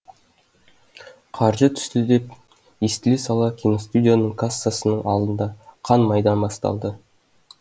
қаржы түсті деп естіле сала киностудияның кассасының алдында қан майдан басталды